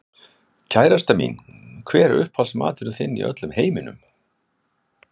Kærastan mín Hver er uppáhaldsstaðurinn þinn í öllum heiminum?